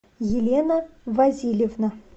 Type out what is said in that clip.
елена васильевна